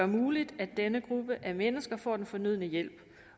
muligt at denne gruppe af mennesker får den fornødne hjælp